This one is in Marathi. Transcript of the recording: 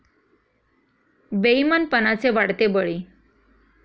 बेइमानपणाचे वाढते बळी